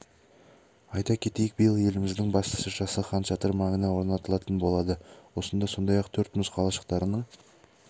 айта кетейік биыл еліміздің басты шыршасы хан шатыр маңына орнатылатын болады осында сондай-ақ төрт мұз қалашықтарының